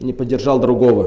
не поддержал другого